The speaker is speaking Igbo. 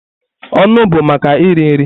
Ọnụ bụ maka iri nri.